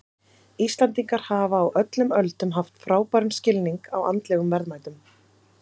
Íslendingar hafa á öllum öldum haft frábæran skilning á andlegum verðmætum.